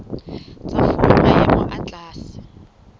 tsa fuwa maemo a tlase